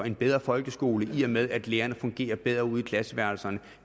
en bedre folkeskole i og med at lærerne fungerer bedre ude i klasseværelserne og